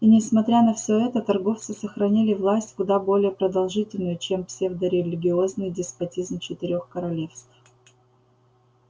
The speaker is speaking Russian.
и несмотря на всё это торговцы сохранили власть куда более продолжительную чем псевдорелигиозный деспотизм четырёх королевств